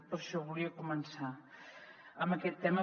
per això volia començar amb aquest tema